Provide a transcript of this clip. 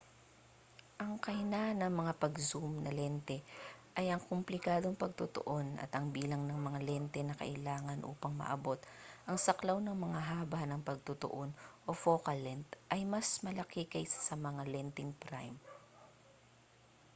ang kahinaan ng mga pang-zoom na lente ay ang komplikadong pagtutuon at ang bilang ng mga lente na kailangan upang maabot ang saklaw ng mga haba ng pagtutuon o focal length ay mas malaki kaysa sa mga lenteng prime